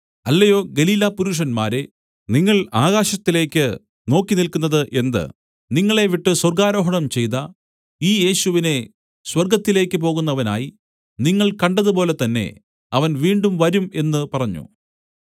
അല്ലയോ ഗലീലാപുരുഷന്മാരേ നിങ്ങൾ ആകാശത്തിലേക്ക് നോക്കിനില്ക്കുന്നത് എന്ത് നിങ്ങളെ വിട്ട് സ്വർഗ്ഗാരോഹണം ചെയ്ത ഈ യേശുവിനെ സ്വർഗ്ഗത്തിലേക്ക് പോകുന്നവനായി നിങ്ങൾ കണ്ടതുപോലെതന്നെ അവൻ വീണ്ടും വരും എന്ന് പറഞ്ഞു